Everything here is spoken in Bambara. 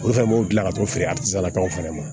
Olu fɛnɛ b'o gilan ka t'o feere a lakaw fɛnɛ ma